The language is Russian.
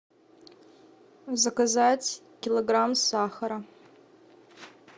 заказать килограмм сахара